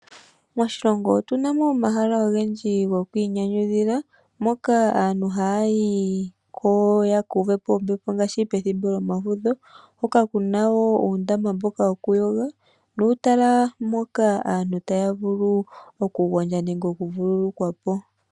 Moshilongo otuna mo omahala ogendji go kwiinyanyudhila ,mpoka aantu ha yayi ko ,ya ka uve po ombepo ngaashi pethimbo lyomafudho, hoka kuna woo uundama wo ku yoga ,nuutala mpoka aantu taya vulu oku gondja nenge oku vululukwa po.